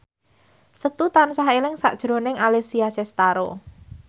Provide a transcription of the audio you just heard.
Setu tansah eling sakjroning Alessia Cestaro